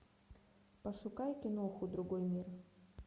пошукай киноху другой мир